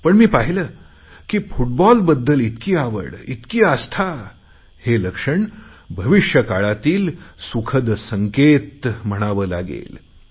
पण मी पाहिले की फूटबॉलबद्दल इतकी आवड इतकी आस्था हे लक्षण भविष्यकाळातील सुखद संकेत म्हणावे लागेल